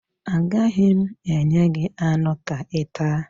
Agaghị m enye gị anụ ka ị taa